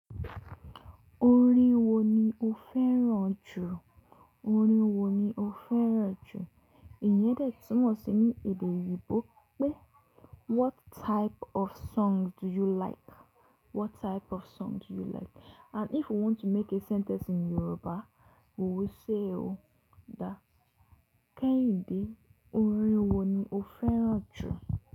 Orin wo ni o fẹ́ràn jù? Orin wo ni o fẹ́ràn jù? Ìyẹn dẹ̀ tún mọ̀ sí ní èdè òyìnbó pé what type of song do you like? What type of song do you like? And if you want to make a sentence in Yoruba, we will say o dá. Kẹ́hìndé, orin wo ni o fẹ́ràn jù?